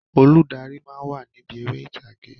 Olùdarí máa ń wà níbi eré ìtàgé